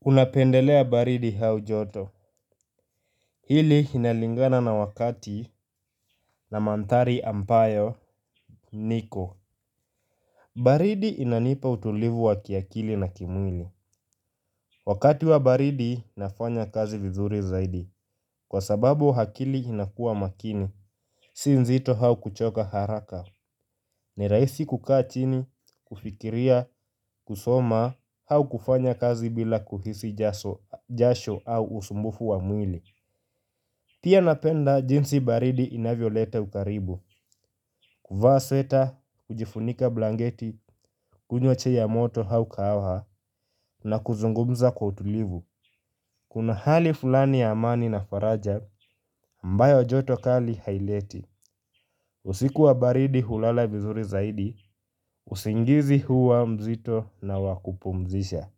Unapendelea baridi au joto? Hili inalingana na wakati na mandhari ambayo niko. Baridi inanipa utulivu wa kiakili na kimwili. Wakati wa baridi nafanya kazi vizuri zaidi, kwa sababu akili inakuwa makini, si nzito au kuchoka haraka. Ni rahisi kukaa chini, kufikiria, kusoma au kufanya kazi bila kuhisi jasho au usumbufu wa mwili. Pia napenda jinsi baridi inavyoleta ukaribu. Kuvaa sweta, kujifunika blanketi, kunywa chai ya moto au kahawa na kuzungumza kwa utulivu. Kuna hali fulani ya amani na faraja ambayo joto kali haileti. Usiku wa baridi hulala vizuri zaidi, usingizi huwa mzito na wakupumzisha.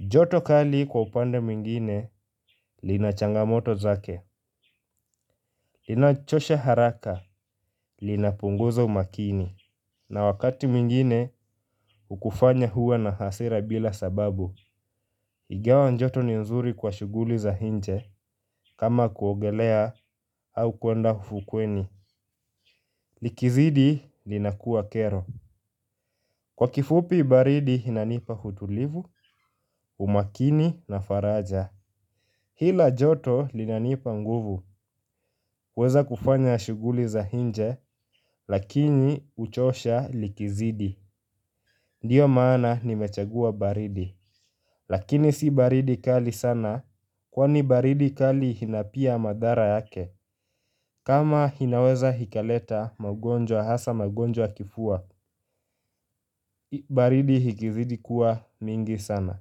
Joto kali kwa upande mwingine, lina changamoto zake. Linachosha haraka, linapunguza umakini. Na wakati mwingine, hukufanya uwe na hasira bila sababu. Ingawa joto ni nzuri kwa shughuli za nje, kama kuogelea au kuenda ufukweni. Likizidi, linakuwa kero. Kwa kifupi baridi inanipa utulivu, umakini na faraja. Hila joto linanipa nguvu. Huweza kufanya shughuli za nje, lakini huchosha likizidi. Ndiyo maana nimechagua baridi. Lakini si baridi kali sana, kwani baridi kali ina pia madhara yake. Kama inaweza ikaleta magonjwa hasa magonjwa ya kifua, baridi ikizidi kuwa mingi sana.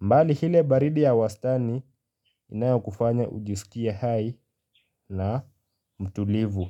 Mbali ile baridi ya wastani inayokufanya ujisikie hai na mtulivu.